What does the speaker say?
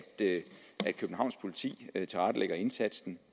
københavns politi tilrettelægger indsatsen